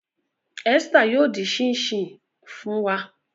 Esther yoo din chin chin fun wa.